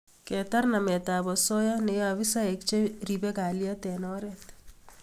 Ketar nametap osoya neyaei afisaek che ribei kalyet eng oret